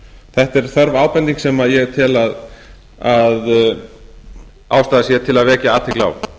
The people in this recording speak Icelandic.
þetta er þörf ábending sem ég tel að ástæða sé til að vekja athygli á